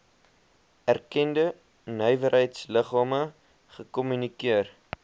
erkende nywerheidsliggame gekommunikeer